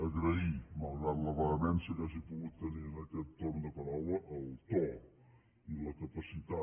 agrair malgrat la vehemència que hagi pogut tenir en aquest torn de paraula el to i la capacitat